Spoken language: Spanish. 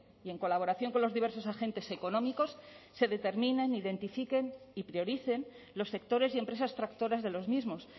y en colaboración con los diversos agentes económicos se determinen identifiquen y prioricen los sectores y empresas tractoras de los mismos